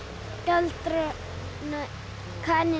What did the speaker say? galdra kanínu